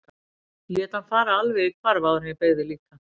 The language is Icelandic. Ég lét hann fara alveg í hvarf áður en ég beygði líka.